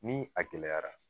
Ni a gɛlɛyara